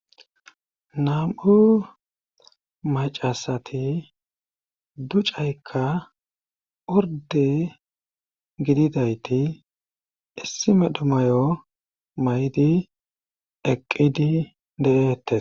Nam'u macasati ducaykka orde gididayti issi meedhdho mayo may'di eqqidi de'ettees